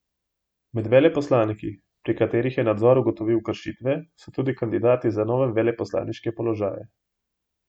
Med veleposlaniki, pri katerih je nadzor ugotovil kršitve, so tudi kandidati za nove veleposlaniške položaje.